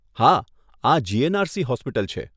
હા, આ GNRC hospital છે.